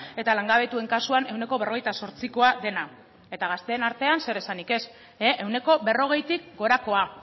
eta langabetuen kasuan ehuneko berrogeita zortzikoa dena eta gazteen artean zeresanik ez ehuneko berrogeitik gorakoa